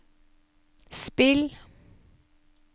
spill